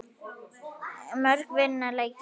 Mörk vinna leiki.